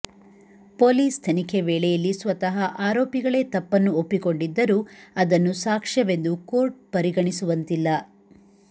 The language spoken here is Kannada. ಪೊಲೀಸ್ ತನಿಖೆ ವೇಳೆಯಲ್ಲಿ ಸ್ವತಃ ಆರೋಪಿಗಳೇ ತಪ್ಪನ್ನು ಒಪ್ಪಿಕೊಂಡಿದ್ದರೂ ಅದನ್ನು ಸಾಕ್ಷ್ಯವೆಂದು ಕೋರ್ಟ್ ಪರಿಗಣಿಸುವಂತಿಲ್ಲ